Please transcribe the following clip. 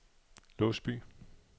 Låsby